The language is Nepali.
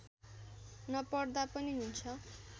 नपढ्दा पनि हुन्छ